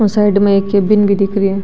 और साइड में एक केबिन भी दिख रो है।